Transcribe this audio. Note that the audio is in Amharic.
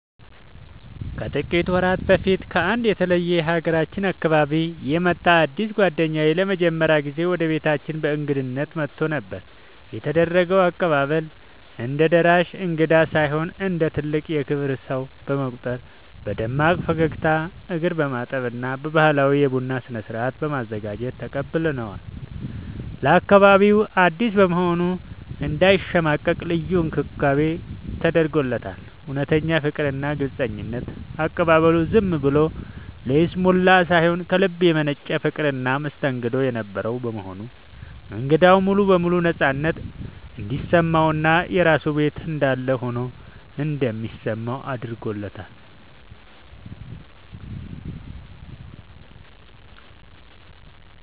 ከጥቂት ወራት በፊት ከአንድ የተለየ የሀገራችን አካባቢ የመጣ አዲስ ጓደኛዬ ለመጀመሪያ ጊዜ ወደ ቤታችን በእንግድነት መጥቶ ነበር። የተደረገው አቀባበል፦ እንደ ደራሽ እንግዳ ሳይሆን እንደ ትልቅ የክብር ሰው በመቁጠር በደማቅ ፈገግታ፣ እግር በማጠብ እና ባህላዊ የቡና ስነ-ስርዓት በማዘጋጀት ተቀብለነዋል። ለአካባቢው አዲስ በመሆኑ እንዳይሸማቀቅ ልዩ እንክብካቤ ተደርጎለታል። እውነተኛ ፍቅርና ግልጽነት፦ አቀባበሉ ዝም ብሎ ለይስሙላ ሳይሆን ከልብ የመነጨ ፍቅርና መስተንግዶ የነበረው በመሆኑ እንግዳው ሙሉ በሙሉ ነፃነት እንዲሰማውና የራሱ ቤት እንዳለ ሆኖ እንዲሰማው አድርጎታል።